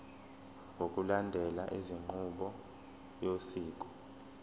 ngokulandela inqubo yosiko